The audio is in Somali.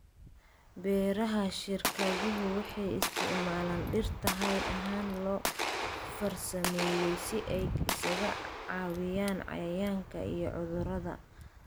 Beeraha shirkaduhu waxay isticmaalaan dhirta hidde ahaan loo farsameeyay si ay isaga caabiyaan cayayaanka iyo cudurrada.